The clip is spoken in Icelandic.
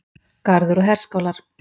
Garður og herskálar.